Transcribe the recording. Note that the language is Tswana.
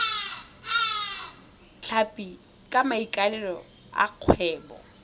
tlhapi ka maikaelelo a kgwebo